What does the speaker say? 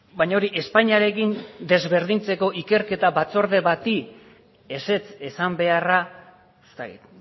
baina hori espainiarekin desberdintzeko ikerketa batzorde bati ezetz esan beharra ez dakit